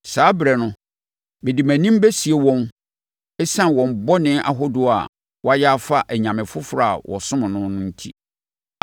Saa ɛberɛ no mede mʼanim bɛsie wɔn ɛsiane wɔn bɔne ahodoɔ a wɔayɛ afa anyame foforɔ a wɔsom no ho enti.